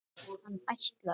Hann ætlaði.